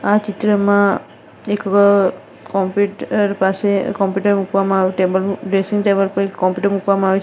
આ ચિત્રમાં એક વ કોમ્પ્યુટર પાસે કોમ્પ્યુટર મૂકવામાં આવે ટેબલ ડ્રેસિંગ ટેબલ પર એક કોમ્પ્યુટર મૂકવામાં આવે છે--